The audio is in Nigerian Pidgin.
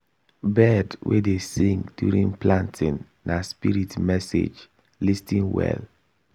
bird wey dey sing during planting na spirit message lis ten well.